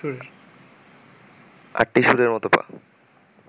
আটটি শুঁড়ের মত পা